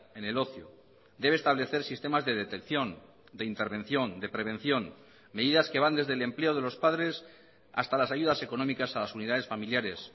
en el ocio debe establecer sistemas de detección de intervención de prevención medidas que van desde el empleo de los padres hasta las ayudas económicas a las unidades familiares